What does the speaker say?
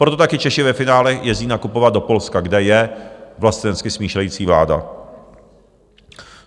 Proto také Češi ve finále jezdí nakupovat do Polska, kde je vlastenecky smýšlející vláda.